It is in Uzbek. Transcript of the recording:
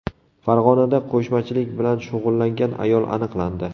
Farg‘onada qo‘shmachilik bilan shug‘ullangan ayol aniqlandi.